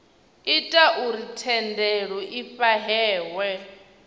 ita uri thendelo i fhahehwe